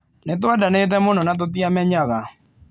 Nĩ twendanĩte mũno na tũtiamenyaga.